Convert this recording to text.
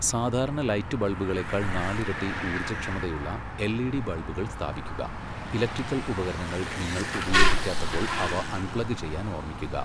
സാധാരണ ലൈറ്റ് ബൾബുകളേക്കാൾ നാലിരട്ടി ഊർജ്ജക്ഷമതയുള്ള എൽഇഡി ബൾബുകൾ സ്ഥാപിക്കുക, ഇലക്ട്രിക്കൽ ഉപകരണങ്ങൾ നിങ്ങൾ ഉപയോഗിക്കാത്തപ്പോൾ അവ അൺപ്ലഗ് ചെയ്യാൻ ഓർമ്മിക്കുക.